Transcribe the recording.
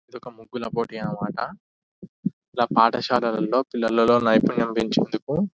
ఇది ఒక ముగ్గుల ఫొటో అన్న మాట ఇలా పాఠశాలలలో పిల్లలలో నైపుణ్యం పెచేందుకు --